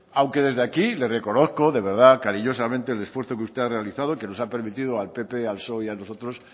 aunque desde aquí le reconozco de verdad cariñosamente el esfuerzo que usted ha realizado que nos ha permitido al pp al psoe y a nosotros